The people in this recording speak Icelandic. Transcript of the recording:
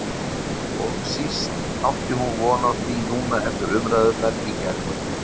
Og síst átti hún von á því núna eftir umræðurnar í gærkvöldi.